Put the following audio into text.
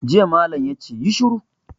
Jiya malam ya ce 'Yi shiru'!